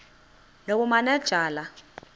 nobumanejala